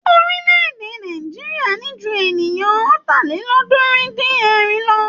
Orílẹ̀-èdè Nàìjíríà ní jú ènìyàn Ọ̀tàlélọ́ọ̀ọ́dúnrún-dín-ẹ̀rin lọ.